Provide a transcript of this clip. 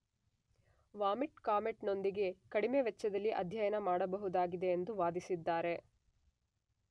Vomit comet ನೊಂದಿಗೆ ಕಡಿಮೆ ವೆಚ್ಚದಲ್ಲಿ ಅಧ್ಯಯನ ಮಾಡಬಹುದಾಗಿದೆ ಎಂದು ವಾದಿಸಿದ್ದಾರೆ.